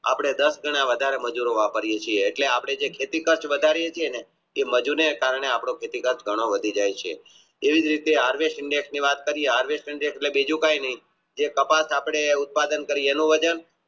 આપણે દાસ કરતા વધારે મજૂરો ગણિયે છીએ આપણે જે ખેતી વધારે છે ને તે મજુર ને કારણે આપણે ખેતી કાચ વધી જાય છે બીજું કે નહિ જે કપાસ આપણે ઉત્પાદન કરીયે એનો વજન